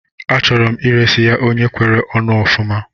Achọrọ m iresi ya onye kwere onu ofuma